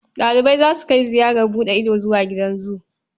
Ɗalibai za su kai ziyarar buɗe ido zuwa gidan zu.